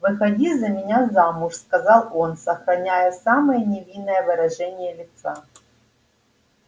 выходи за меня замуж сказал он сохраняя самое невинное выражение лица